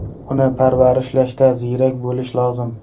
Uni parvarishlashda ziyrak bo‘lish lozim.